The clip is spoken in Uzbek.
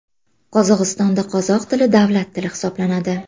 Qozog‘istonda qozoq tili davlat tili hisoblanadi.